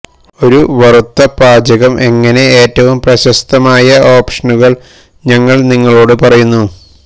ഒരു വറുത്ത പാചകം എങ്ങനെ ഏറ്റവും പ്രശസ്തമായ ഓപ്ഷനുകൾ ഞങ്ങൾ നിങ്ങളോടു പറയുന്നു